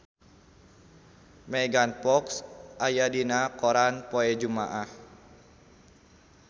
Megan Fox aya dina koran poe Jumaah